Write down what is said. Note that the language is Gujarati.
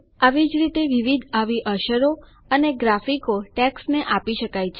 આવી જ રીતે વિવિધ આવી અસરો અને ગ્રાફિકો ટેક્સ્ટને આપી શકાય છે